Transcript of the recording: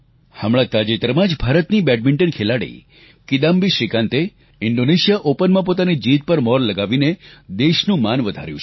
હમણાં તાજેતરમાં જ ભારતે બેડમિન્ટન ખેલાડી કિદામ્બી શ્રીકાંતે ઇંડોનેશિયા ઓપનમાં પોતાની જીત પર મોહર લગાવીને દેશનું માન વધાર્યું છે